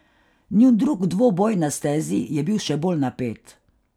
Njun drug dvoboj na stezi je bil še bolj napet.